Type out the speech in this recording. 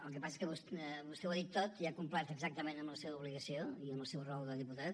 el que passa que vostè ho ha dit tot i ha complert exactament amb la seva obligació i amb el seu rol de diputat